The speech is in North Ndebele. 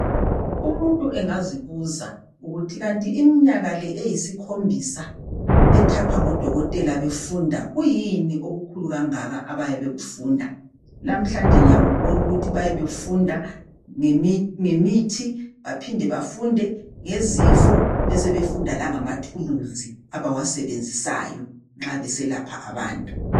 Umuntu engazibuza ukuthi kanti iminyaka le eyisikhombisa ethathwa ngodokotela befunda, kuyini okukhulu kangaka abayabe bekufunda. Lamhlanje ngiyakubona ukuthi bayabe befunda ngemithi baphinde bafunde ngezifo besebefunda langamathuluzi abawasebenzisayo nxa beselapha abantu.